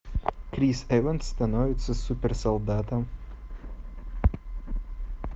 крис эванс становится супер солдатом